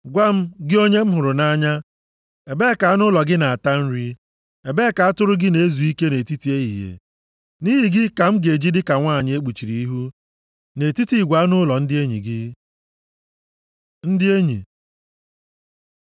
Gwa m, gị onye m hụrụ nʼanya, ebee ka anụ ụlọ gị na-ata nri? Ebee ka atụrụ gị na-ezu ike nʼetiti ehihie? Nʼihi gị ka m ga-eji dịka nwanyị e kpuchiri ihu nʼetiti igwe anụ ụlọ ndị enyi gị. Ndị Enyi